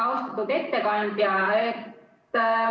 Austatud ettekandja!